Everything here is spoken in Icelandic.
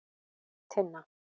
Tinna